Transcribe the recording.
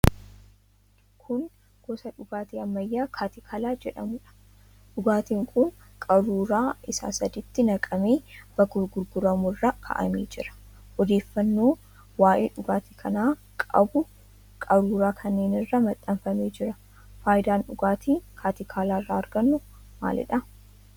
Kun gosa dhugaatii ammayyaa 'katikala' jedhamuudha. Dhugaatiin kun qaruuraa isaa sadiitti naqamee bakka gurguramu irra kaa'amee jira. Odeeffannoon waa'ee dhugaatii kanaa qabu qaruuraa kanneen irratti maxxanfamee jira. Faayidaan dhugaatii 'katikala' irraa argannu maalidha?